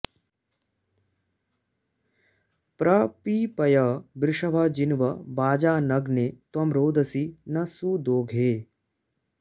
प्र पी॑पय वृषभ॒ जिन्व॒ वाजा॒नग्ने॒ त्वं रोद॑सी नः सु॒दोघे॑